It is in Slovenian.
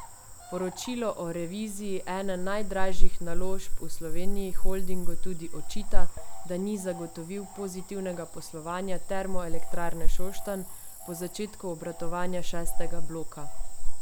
Poročilo o reviziji ene najdražjih naložb v Sloveniji holdingu tudi očita, da ni zagotovil pozitivnega poslovanja Termoelektrarne Šoštanj po začetku obratovanja šestega bloka.